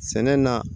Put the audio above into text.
Sɛnɛ na